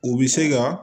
U bɛ se ka